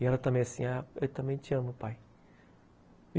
E ela também assim, eu também te amo, pai.